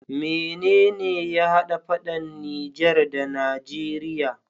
Mene ya hada faɗan niger da nageria?